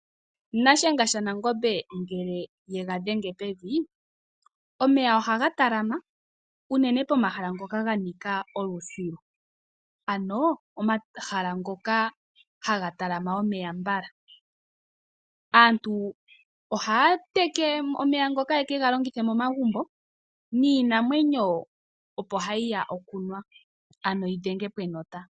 Nashenga shanangombe ngele ega dhenge pevi omeya ohaga talama unene pomahala ngoka ganika olusilu ano omahala ngoka haga talama omeya mbala, aantu ohaa teke omeya ngoka yekega longithe momagumbo niinamwenyo opo hayiya okunwa ano yidhenge po enota.